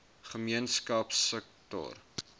gemeenskapsektor